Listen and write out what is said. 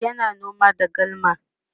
yana noma da galma